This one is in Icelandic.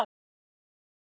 Er liðið þitt klárt?